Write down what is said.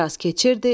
Bir az keçirdi.